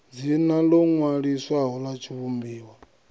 dzina ḽo ṅwaliswaho ḽa tshivhumbiwa